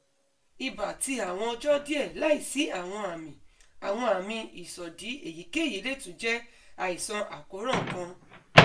iba ti awọn ọjọ diẹ laisi awọn ami awọn ami isọdi eyikeyi le tun jẹ aisan akoran kan